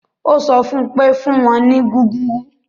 Ó sọ fún un pé; fún wọn ní gúgúrú